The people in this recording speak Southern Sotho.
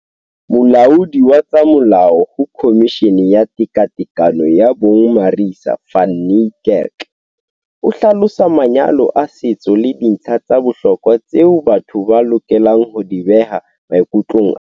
Molaodi wa tsa molao ho Khomishini ya Tekatekano ya Bong Marissa van Niekerk o hlalosa manyalo a setso le dintlha tsa bohlokwa tseo batho ba lokelang ho di beha maikutlong a bona.